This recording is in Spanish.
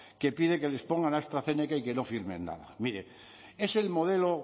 que pide que les pongan astrazeneca y que no firmen nada mire es el modelo